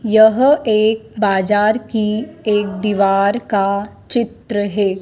यह एक बाजार की एक दीवार का चित्र है।